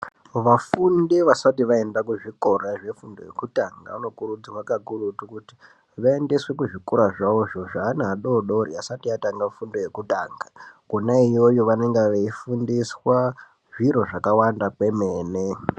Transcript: Vafundi vasati vaenda ku zvikora zve fundo yekutanga vano kurudzirwa kakurutu kuti vaendeswe ku zvikora zvawozvo zve ana adodori asati atanga fundo yekutanga kona iyoyo vanonga veyi fundiswa zviro zvaka wanda kwemene.